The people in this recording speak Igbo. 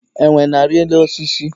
Enwe na-arị elu osisi.